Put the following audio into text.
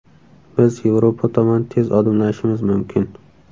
Biz Yevropa tomon tez odimlashimiz mumkin.